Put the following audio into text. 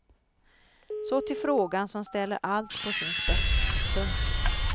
Så till frågan som ställer allt på sin spets. punkt